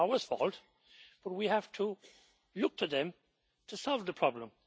It is Norway's fault, but we have to look to them to solve the problem.